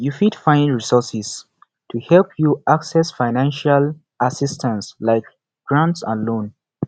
you fit find resources to help you access financial assistance like grant and loans